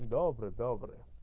добрый добрый